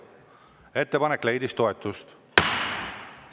Ettepanek leidis toetust.